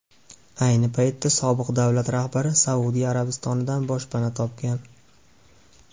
Ayni paytda sobiq davlat rahbari Saudiya Arabistonidan boshpana topgan.